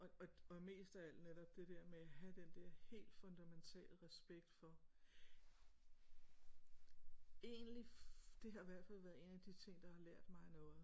Og og mest af alt netop det der med have den der helt fundamentale respekt for egentlig det har hvert fald været en af de ting der har lært mig noget